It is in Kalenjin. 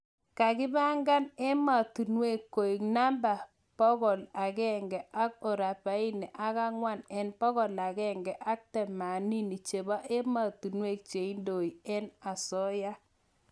kagi pangan emanotong koeg namba bokol agenge ak rubaini ak angwwan en bokol agenge ak tamanini cheba ematunwek cheindoe en asooya